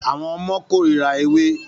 Àwọn ọmọ kórira ewé ewé